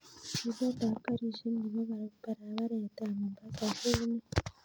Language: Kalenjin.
Chilet ap karishek nepo paraparet ap mombasa ko unee